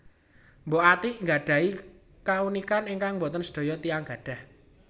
Mbok Atiek nggadhahi kaunikan ingkang boten sedaya tiyang gadhah